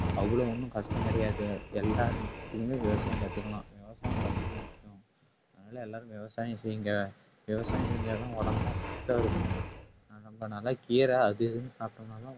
அவ்வளவு ஒண்ணும் கஷ்டம் கிடையாது எல்லாருக்குமே விவசாயம் கத்துக்கலாம் விவசாயம் ரொம்ப முக்கியம் அதனால எல்லாரும் விவசாயம் செய்யுங்க விவசாயம் செஞ்சாதான் உடம்பெல்லாம் சத்தா இருக்கும் நம்ப நல்லா கீரை அது இதுன்னு சாப்பிட்டோம்னாதான்